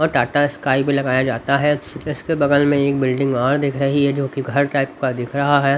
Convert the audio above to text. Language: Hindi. और टाटा स्काई भी लगाया जाता है इसके बगल में एक बिल्डिंग और दिख रही है जो कि घर टाइप का दिख रहा है।